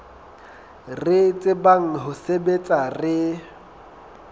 re tsebang ho sebetsa re